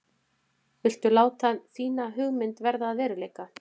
Viltu láta þína hugmynd verða að veruleika?